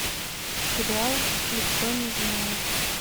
сериал никто не знает